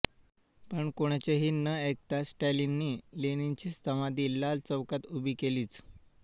पण कोणाचेही न ऐकता स्टालिननी लेनिनची समाधी लाल चौकात उभी केलीच